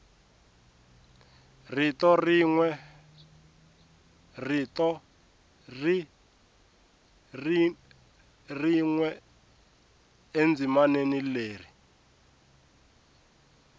rito rin we endzimaneni leri